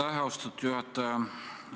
Aitäh, austatud juhataja!